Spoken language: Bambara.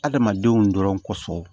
Adamadenw dɔrɔn kɔsɔn